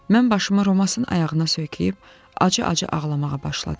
Mən başımı Romassın ayağına söykəyib, acı-acı ağlamağa başladım.